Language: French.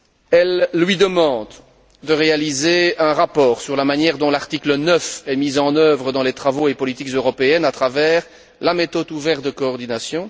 Elle lui demande de réaliser un rapport sur la manière dont l'article 9 est mis en œuvre dans les travaux et politiques européennes à travers la méthode ouverte de coordination.